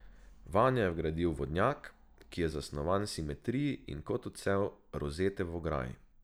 Vanjo je vgradil vodnjak, ki je zasnovan v simetriji in kot odsev rozete v ograji.